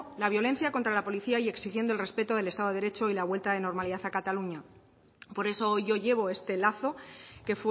la violencia contra la policía y exigiendo el respeto del estado del derecho y la vuelta a la normalidad de cataluña por eso hoy yo llevo este lazo que